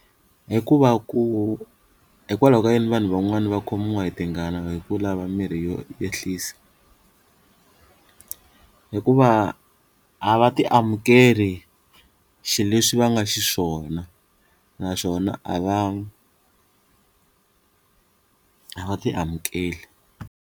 Hi ku va ku hikwalaho ka yini vanhu van'wana va khomiwa hi tingana hi ku lava mirhi yo ehlisa hikuva a va ti amukeleni xileswi va nga xiswona naswona a va a va ti amukeli.